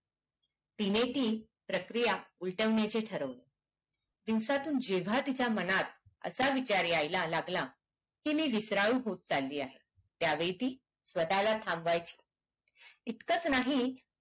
तिने ती प्रक्रिया उलटवण्याचे ठरविले दिवसातून जेव्हा तिच्या मनात असा विचार यायला लागला ती विसराळु होत चाल्ली आहे त्यावेळी ती स्वताला थांबवायची इथकच नाही तर